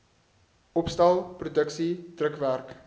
opstel produksie drukwerk